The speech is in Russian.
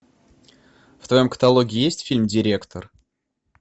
в твоем каталоге есть фильм директор